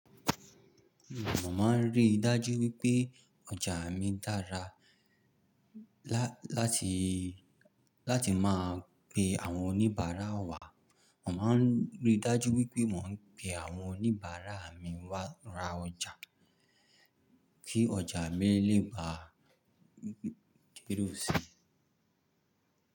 Mo máa ń ríi dájú wípé ọjà mi dára láti máa pe àwọn oníbàárà wá. Mo máa rí dájú wípé mo ń pe àwọn oníbàárà mi wá ra ọjà, kí ọjà mi lè ba k'ere sí.